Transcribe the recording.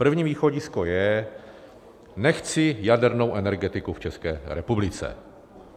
První východisko je: Nechci jadernou energetiku v České republice.